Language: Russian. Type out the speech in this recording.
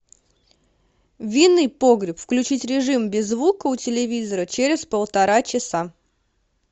винный погреб включить режим без звука у телевизора через полтора часа